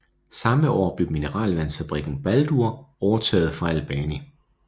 Samme år blev mineralvandsfabrikken Baldur overtaget fra Albani